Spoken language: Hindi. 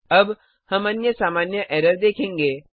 अब हम अन्य सामान्य एरर देखेंगे